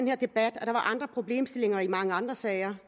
her debat at der var andre problemstillinger i mange andre sager